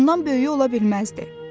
Ondan böyüyü ola bilməzdi.